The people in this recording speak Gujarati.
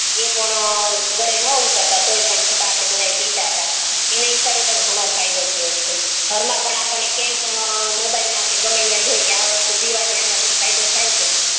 ઈ પણ ગરે નો ઉતરતા છતાં પણ આપડે બધા પિતા એને હિસાબે પણ ઘનો ફાયદો થયું છે ઘર મા પણ આપડને ક્યાંય પણ મોબાઈલ મા કે આ વસ્તુ જોવાની આન થી ફાયદો થાય છે